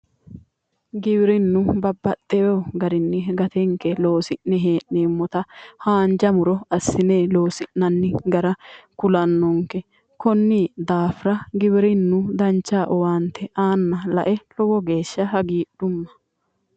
Giwirinnu babbaxxeyo garinni gatenke loosi'ne hee'neemmota haanja muro assine loosi'nanni gara kulannonke konni daafira giwirinnu dancha owaante aanna lae lowo geeshsha hagiidhumma